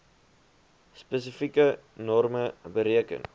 spesifieke norme bereken